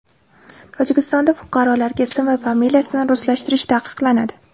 Tojikistonda fuqarolarga ism va familiyasini ruslashtirish taqiqlanadi.